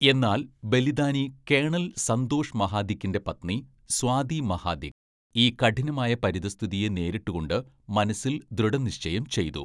"എന്നാല്‍ ബലിദാനി കേണല്‍ സന്തോഷ് മഹാദിക്കിന്റെ പത്‌നി സ്വാതി മഹാദിക് ഈ കഠിനമായ പരിതസ്ഥിതിയെ നേരിട്ടുകൊണ്ട് മനസ്സില്‍ ദൃഢനിശ്ചയം ചെയ്തു. "